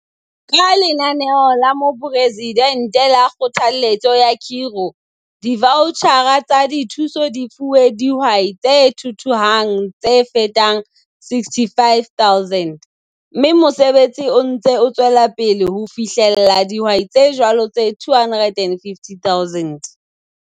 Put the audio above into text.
Ka Lenaneo la Moporesidente la Kgothalletso ya Khiro, divautjhara tsa dithuso di fuwe dihwai tse thuthuhang tse fetang 65 000, mme mosebetsi o ntse o tswela pele ho fihella dihwai tse jwalo tse 250 000.